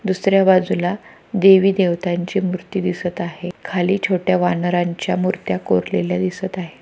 दुसर्‍या बाजूला देवी देवतांची मूर्ति दिसत आहे खाली छोट्या वानरांच्या मूर्त्या कोरलेल्या दिसत आहे.